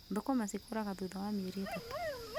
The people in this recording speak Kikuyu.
Thũkũma cikũraga thutha wa mĩeri ĩtatũ